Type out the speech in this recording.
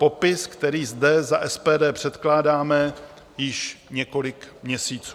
Popis, který zde za SPD předkládáme již několik měsíců.